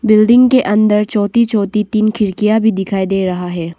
Building के अंदर छोटी छोटी तीन खिड़कियां भी दिखाई दे रहा है।